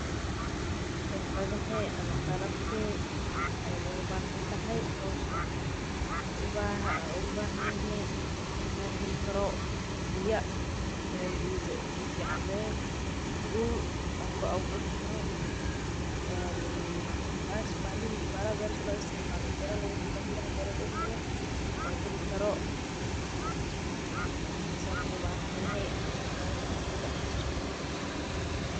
Xirfadee ama qalabkee ugu bahan tahay howshan waxaan ugu bahan yahay inaan helo biya fican biraha beerta lagu falo.